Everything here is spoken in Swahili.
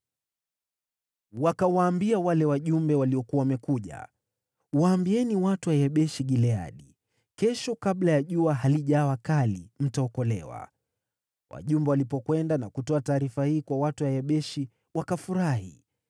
Wakawaambia wale wajumbe waliokuwa wamekuja, “Waambieni watu wa Yabeshi-Gileadi, ‘Kesho kabla jua halijawa kali, mtaokolewa.’ ” Wajumbe walipokwenda na kutoa taarifa hii kwa watu wa Yabeshi, wakafurahi.